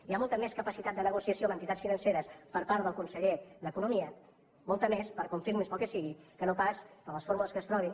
hi ha molta més capacitat de negociació amb entitats financeres per part del conseller d’economia molta més per confirmings pel que sigui que no pas per les fórmules que es trobin